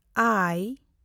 ᱟᱭ